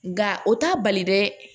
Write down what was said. Nka o t'a bali dɛ